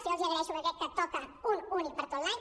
jo els ho agraeixo perquè crec que toca un únic per a tot l’any